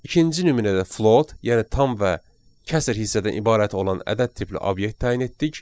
İkinci nümunədə float, yəni tam və kəsr hissədən ibarət olan ədəd tipli obyekt təyin etdik.